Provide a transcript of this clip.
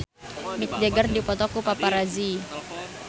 Mick Jagger dipoto ku paparazi